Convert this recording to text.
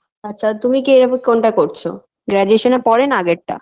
আচ্ছা তুমি কী এভাবে কোনটা করছো graduation -এর পরের না আগের টা